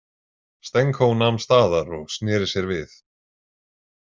Stenko nam staðar og sneri sér við.